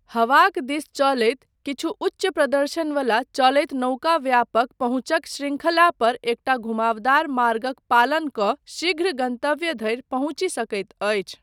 हवाक दिस चलैत, किछु उच्च प्रदर्शन वला चलैत नौका व्यापक पहुँचक शृंखला पर एकटा घुमावदार मार्गक पालन कऽ शीघ्र गन्तव्य धरि पहुँचि सकैत अछि।